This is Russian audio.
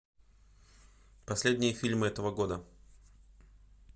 последние фильмы этого года